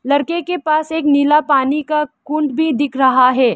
लड़के के पास एक नीला पानी का कुंड भी दिख रहा है।